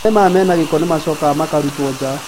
Maĩ maya mena gĩko nĩmacokaga makarutwo nja